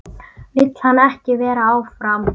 Vill hann ekki vera áfram?